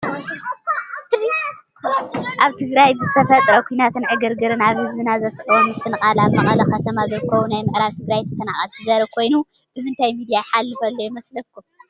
ኣብ ትግራይ ብዝተፈጠረ ኲናትን ዕግርግርን ኣብ ህዝብና ዘስዓቦ ምፍንቓል ኣብ መቐለ ከተማ ዝርከቡ ናይ ምዕራብ ትግራይ ተፈናቐልቲ ዘርኢ ኮይኑ ብምንታይ ሚድያ ይሓልፍ ኣሎ ይመስለኩም?